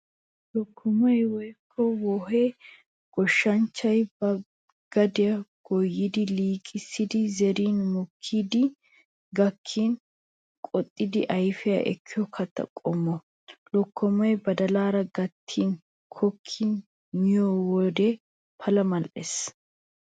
Lokkomay woykko wohee goshshanchchay ba gadiyaa goyyidi liiqissidi zerin mokkidi gakkin qoxxidi ayfiyaa ekkiyo katta qommo. Lokkomay badalaara gattidi kokkidi miyo wode pala mal'ees.